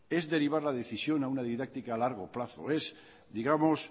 es derivar la decisión a una didáctica a largo plazo es digamos